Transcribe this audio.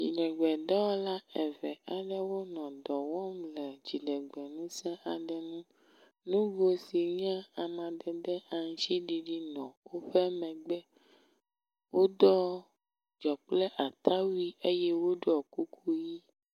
Nyiɖegbe dɔwɔla eve aɖewo nɔ dɔwɔm le dziɖegbe ŋuse aɖe nu, nugo sinye amadede aŋtsiɖiɖi nɔ wóƒe megbe, woɖɔ dzɔkple ata wui eyɛ woɖɔ kuku yi